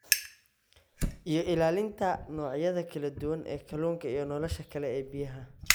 iyo ilaalinta noocyada kala duwan ee kalluunka iyo nolosha kale ee biyaha.